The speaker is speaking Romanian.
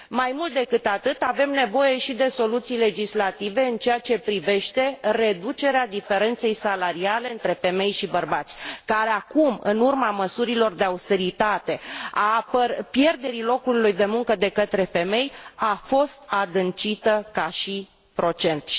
Mai mult decât atât, avem nevoie și de soluții legislative în ceea ce privește reducerea diferenței salariale între femei și bărbați care acum, în urma măsurilor de austeritate, a pierderii locului de muncă de către femei, a crescut procentual.